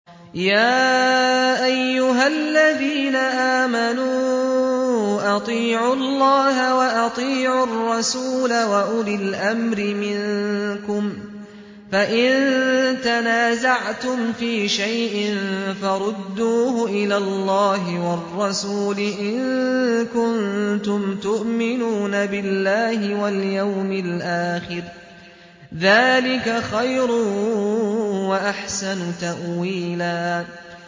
يَا أَيُّهَا الَّذِينَ آمَنُوا أَطِيعُوا اللَّهَ وَأَطِيعُوا الرَّسُولَ وَأُولِي الْأَمْرِ مِنكُمْ ۖ فَإِن تَنَازَعْتُمْ فِي شَيْءٍ فَرُدُّوهُ إِلَى اللَّهِ وَالرَّسُولِ إِن كُنتُمْ تُؤْمِنُونَ بِاللَّهِ وَالْيَوْمِ الْآخِرِ ۚ ذَٰلِكَ خَيْرٌ وَأَحْسَنُ تَأْوِيلًا